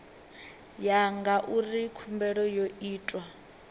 ya ngauri khumbelo yo itwa